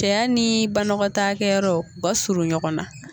Cɛya ni banɔgɔtaakɛyɔrɔ u ka surun ɲɔgɔn na.